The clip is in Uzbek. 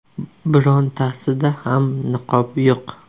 Birontasida ham niqob yo‘q.